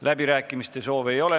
Läbirääkimiste soovi ei ole.